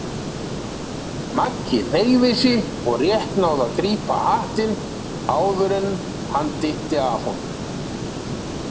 Maggi hneigði sig og rétt náði að grípa hattinn áður en hann dytti af honum.